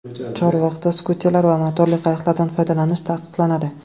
Chorvoqda skuterlar va motorli qayiqlardan foydalanish taqiqlanadi.